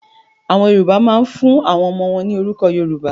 Àwọn Yorùbá máa ń fún àwọn ọmọ wọn ní orúkọ Yorùbá.